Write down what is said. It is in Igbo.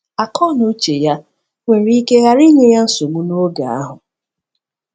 Akọnuche ya nwere ike ghara inye ya nsogbu n’oge ahụ.